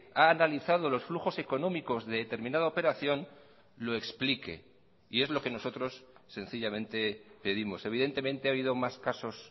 ha analizado los flujos económicos de determinada operación lo explique y es lo que nosotros sencillamente pedimos evidentemente ha habido más casos